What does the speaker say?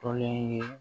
Tɔlen ye